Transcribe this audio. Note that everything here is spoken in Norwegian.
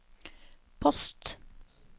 post